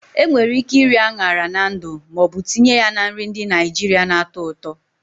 Enwere ike iri añara na ndu ma ọ bụ tinye ya na nri ndị Naijiria na-atọ ụtọ.